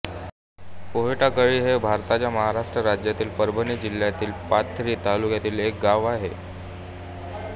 पोहेटाकळी हे भारताच्या महाराष्ट्र राज्यातील परभणी जिल्ह्यातील पाथरी तालुक्यातील एक गाव आहे